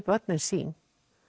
börnin sín